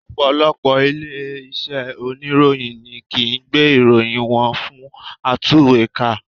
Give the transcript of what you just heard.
Ọ̀pọ̀lọpọ̀ ilé iṣẹ́ oníròyìn ni kìí gbé ìròyìn wọn fún atúwèékà